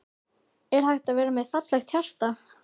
Er hægt að vera með fallegra hjarta?